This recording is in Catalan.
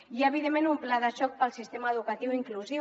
i evidentment un pla de xoc per al sistema educatiu inclusiu